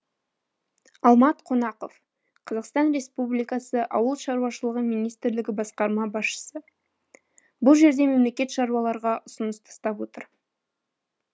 алмат қонақов қазақстан республикасы ауыл шаруашылығы министрлігі басқарма басшысы бұл жерде мемлекет шаруаларға ұсыныс тастап отыр